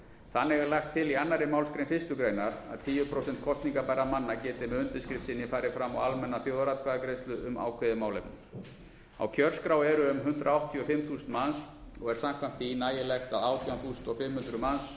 þannig er lagt til í annarri málsgrein fyrstu grein að tíu prósent kosningarbærra manna geti með undirskrift sinni farið fram á almenna þjóðaratkvæðagreiðslu um ákveðið málefni á kjörskrá eru um hundrað áttatíu og fimm þúsund manns og er samkvæmt því nægilegt að átján þúsund fimm hundruð manns um það